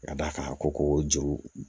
Ka d'a kan a ko ko juru